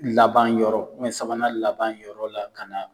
Laban yɔrɔ sabanan laban yɔrɔ la ka na